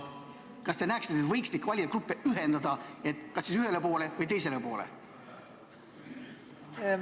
Kas te näeksite, et võiks neid valijagruppe ühendada, kas siis ühele või teisele poole?